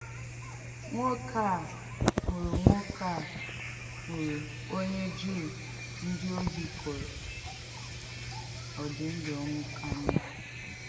Nwòkè à hụ̀rụ̀ Nwòkè à hụ̀rụ̀ onye Jùù ndí ohì kụrụ̀, ọ dì̄ ndú ọnwụ̀ ka mma.